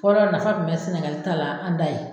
Fɔlɔ nafa kun be sɛnɛgali ta la an da ye